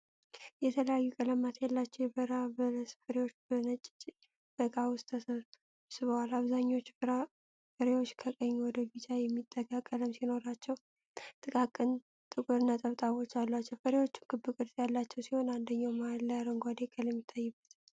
የተለያዩ ቀለማት ያላቸው የበረሃ በለስ ፍሬዎች በነጭ ዕቃ ውስጥ ተሰብስበዋል። አብዛኞቹ ፍሬዎች ከቀይ ወደ ቢጫ የሚጠጋ ቀለም ሲኖራቸው ጥቃቅን ጥቁር ነጠብጣቦች አሏቸው። ፍሬዎቹ ክብ ቅርጽ ያላቸው ሲሆን አንደኛው መሃል ላይ አረንጓዴ ቀለም ይታይበታል።